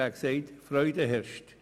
Er sagte: «Freude herrscht».